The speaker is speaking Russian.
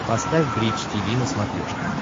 поставь бридж тиви на смотрешке